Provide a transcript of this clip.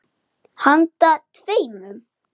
Handa tveimur